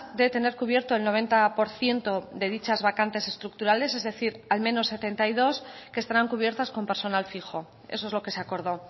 de tener cubierto el noventa por ciento de dichas vacantes estructurales es decir al menos setenta y dos que estarán cubiertas con personal fijo eso es lo que se acordó